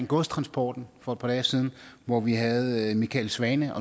godstransporten for et par dage siden hvor vi havde michael svane